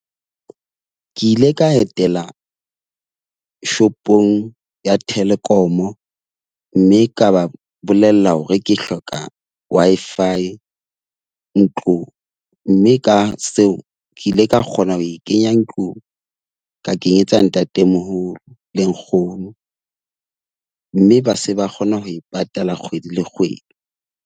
Ke ile ka etela shopong ya Telkom, mme ka ba bolella hore ke hloka Wi-Fi. Mme ka seo ke ile ka kgona ho e kenya ntlung. Ka kenyetsa ntatemoholo le nkgono. Mme ba se ba kgona ho e patala kgwedi le kgwedi.